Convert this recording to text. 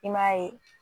I m'a ye